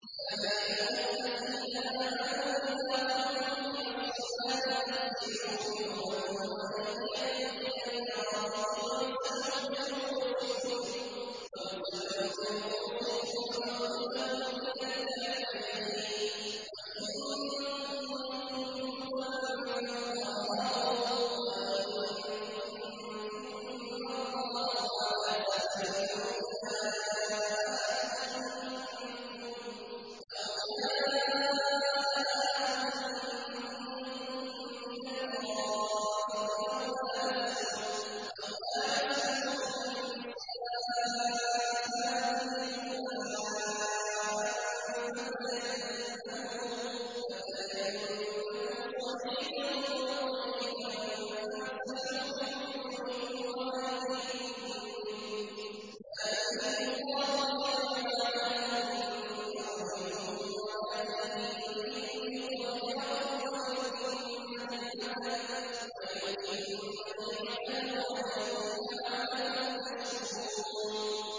يَا أَيُّهَا الَّذِينَ آمَنُوا إِذَا قُمْتُمْ إِلَى الصَّلَاةِ فَاغْسِلُوا وُجُوهَكُمْ وَأَيْدِيَكُمْ إِلَى الْمَرَافِقِ وَامْسَحُوا بِرُءُوسِكُمْ وَأَرْجُلَكُمْ إِلَى الْكَعْبَيْنِ ۚ وَإِن كُنتُمْ جُنُبًا فَاطَّهَّرُوا ۚ وَإِن كُنتُم مَّرْضَىٰ أَوْ عَلَىٰ سَفَرٍ أَوْ جَاءَ أَحَدٌ مِّنكُم مِّنَ الْغَائِطِ أَوْ لَامَسْتُمُ النِّسَاءَ فَلَمْ تَجِدُوا مَاءً فَتَيَمَّمُوا صَعِيدًا طَيِّبًا فَامْسَحُوا بِوُجُوهِكُمْ وَأَيْدِيكُم مِّنْهُ ۚ مَا يُرِيدُ اللَّهُ لِيَجْعَلَ عَلَيْكُم مِّنْ حَرَجٍ وَلَٰكِن يُرِيدُ لِيُطَهِّرَكُمْ وَلِيُتِمَّ نِعْمَتَهُ عَلَيْكُمْ لَعَلَّكُمْ تَشْكُرُونَ